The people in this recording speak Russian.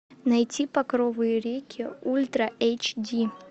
найти багровые реки ультра эйч ди